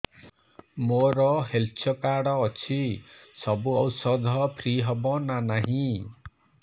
ମୋର health card ଅଛି ସବୁ ଔଷଧ ଫ୍ରି ହବ ନା ନାହିଁ